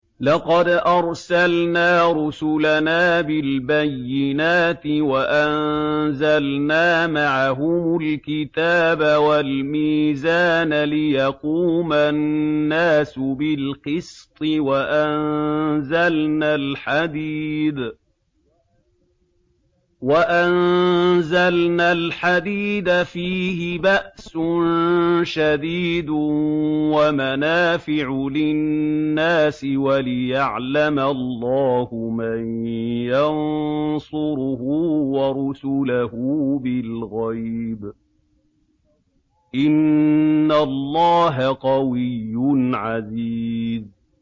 لَقَدْ أَرْسَلْنَا رُسُلَنَا بِالْبَيِّنَاتِ وَأَنزَلْنَا مَعَهُمُ الْكِتَابَ وَالْمِيزَانَ لِيَقُومَ النَّاسُ بِالْقِسْطِ ۖ وَأَنزَلْنَا الْحَدِيدَ فِيهِ بَأْسٌ شَدِيدٌ وَمَنَافِعُ لِلنَّاسِ وَلِيَعْلَمَ اللَّهُ مَن يَنصُرُهُ وَرُسُلَهُ بِالْغَيْبِ ۚ إِنَّ اللَّهَ قَوِيٌّ عَزِيزٌ